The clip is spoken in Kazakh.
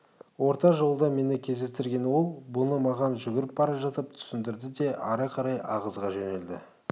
орта жолда мені кездестірген ол бұны маған жүгіріп бара жатып түсіндірде де ары қарай ағыза жөнелді